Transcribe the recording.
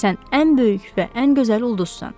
Sən ən böyük və ən gözəl ulduzsan.